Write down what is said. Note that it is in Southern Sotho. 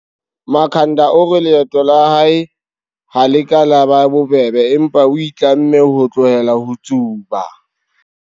Makhanda o re leeto la hae ha le ka la eba bobebe, empa o itlamme ho tlohela ho tsuba.